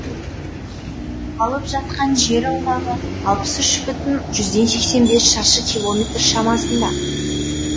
алып жатқан жер аумағы алпыс үш бүтін жүзден сексен бес шаршы километр шамасында